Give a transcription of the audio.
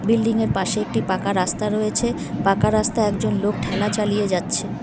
Building -এর পাশে একটি পাকা রাস্তা রয়েছে পাকা রাস্তায় একজন লোক ঠেলা চালিয়ে যাচ্ছে।